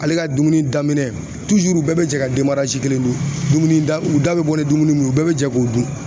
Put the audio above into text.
Ale ka dumuni daminɛ bɛɛ bɛ jɛ ka kelen dun dumuni da u da bɛ bɔ ni dumuni min ye bɛɛ bɛ jɛ k'o dun